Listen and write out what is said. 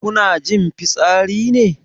Kuna jin fitsari ne?